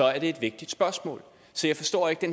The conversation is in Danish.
er det et vigtigt spørgsmål så jeg forstår det